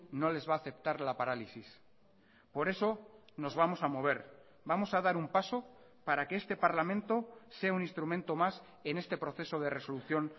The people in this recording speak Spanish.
no les va a aceptar la parálisis por eso nos vamos a mover vamos a dar un paso para que este parlamento sea un instrumento más en este proceso de resolución